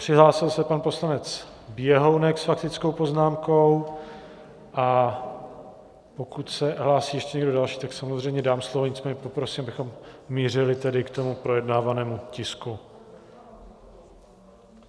Přihlásil se pan poslanec Běhounek s faktickou poznámkou, a pokud se hlásí ještě někdo další, tak samozřejmě dám slovo, nicméně poprosím, abychom mířili tedy k tomu projednávanému tisku.